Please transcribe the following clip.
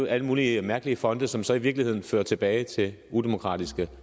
alle mulige mærkelige fonde som så i virkeligheden fører tilbage til udemokratiske